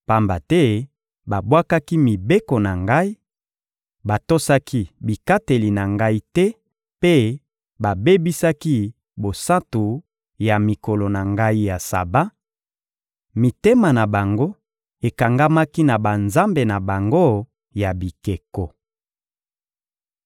pamba te babwakaki mibeko na Ngai, batosaki bikateli na Ngai te mpe babebisaki bosantu ya mikolo na Ngai ya Saba: mitema na bango ekangamaki na banzambe na bango ya bikeko.